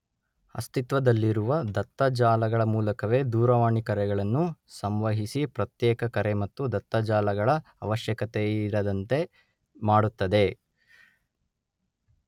ಅಸ್ತಿತ್ವದಲ್ಲಿರುವ ದತ್ತ ಜಾಲಗಳ ಮೂಲಕವೇ ದೂರವಾಣಿ ಕರೆಗಳನ್ನು ಸಂವಹಿಸಿ ಪ್ರತ್ಯೇಕ ಕರೆ ಮತ್ತು ದತ್ತ ಜಾಲಗಳ ಅವಶ್ಯಕತೆಯಿರದಂತೆ ಮಾಡುತ್ತದೆ.